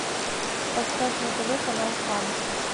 поставь на тв канал фан